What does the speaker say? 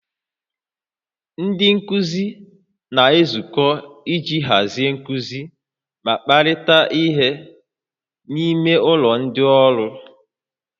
Ndị nkuzi na-ezukọ iji hazie nkuzi ma kparịta ihe n'ime ụlọ ndị ọrụ